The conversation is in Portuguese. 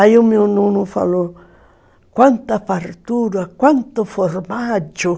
Aí o meu nono falou, quanta fartura, quanto formaggio.